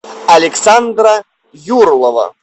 александра юрлова